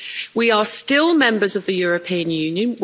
We are still members of the European Union.